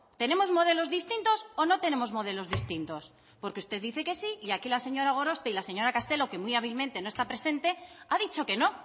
tenemos modelos distintos o no tenemos modelos distintos porque usted dice que sí y aquí la señora gorospe y la señora castelo que muy hábilmente no está presenta ha dicho que no